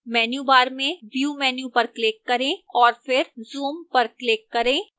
menu bar में view menu पर click करें और फिर zoom पर click करें